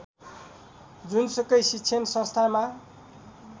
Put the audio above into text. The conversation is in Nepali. जुनसुकै शिक्षण संस्थामा